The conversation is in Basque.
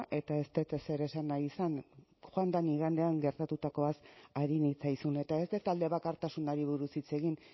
eta ez dut ezer esan nahi izan joan den igandean gertatutakoaz ari nitzaizun eta ez dut alde bakartasunari buruz hitz egin